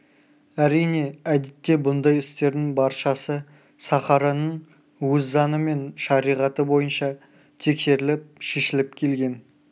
әрине әдетте бұндай істердің баршасы сахараның өз заңы мен шариғаты бойынша тексеріліп шешіліп келген